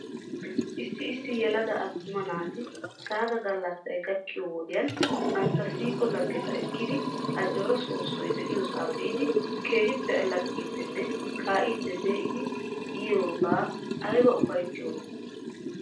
Issi issi yelaga attuma naati sagga gallassay gakkiyoo wodiyan bantta siiqo laggeta ekkidi ajooraa soossoy de'iyoosaa biidi keehippe allaxxiddinne kaa'iidi pee'idi yiyooga ayba ufayttiyoonaa?